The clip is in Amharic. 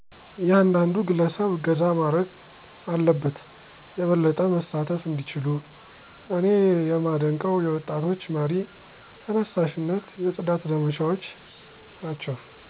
እያንዳንዱ ግለሰብ እገዛ ማረግ አለበት የበለጠ መሳተፍ እንዲችሉ። እኔ የማደንቀው የወጣቶች መር ተነሳሺነት የፅዳት ዘመቻዎች ናቸው።